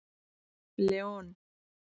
Leon